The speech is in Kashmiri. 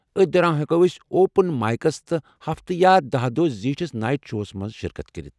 أتھۍ دوران ہیٚکَو ٲسۍ اوپن مایکس تہٕ ہفتہٕ یا دہَ دۄہ زِیٹھِس نایِٹ شوَہس مَنٛز شرکت کٔرِتھ